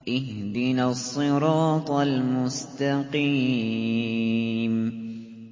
اهْدِنَا الصِّرَاطَ الْمُسْتَقِيمَ